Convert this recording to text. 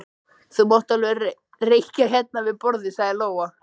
Þú mátt alveg reykja hérna við borðið, sagði Lóa.